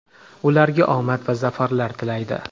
ularga omad va zafarlar tilaydi!.